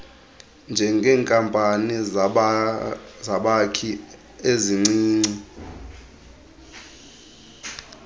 njengeenkampani zabakhi ezincinci